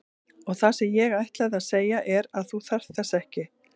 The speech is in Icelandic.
Og það sem ég ætlaði að segja er að þú þarft þess ekki.